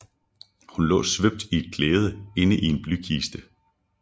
Hun lå svøbt i et klæde inde i en blykiste